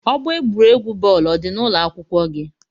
Ọgbọ egwuregwu bọọlu ọ dị n'ụlọ akwụkwọ gị?